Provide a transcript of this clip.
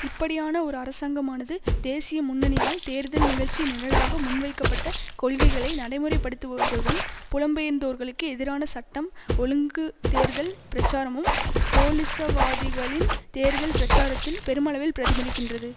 இப்படியான ஒரு அரசாங்கமானது தேசிய முன்னணியால் தேர்தல் நிகழ்ச்சி நிரலாக முன்வைக்கப்பட்ட கொள்கைகளை நடைமுறைப்படுத்துவதுடன் புலம்பெயர்ந்தோர்களுக்கு எதிரான சட்டம் ஒழுங்கு தேர்தல் பிரச்சாரமும் கோலிசவாதிகளின் தேர்தல் பிரச்சாரத்தில் பெருமளவில் பிரதிபலிக்கின்றது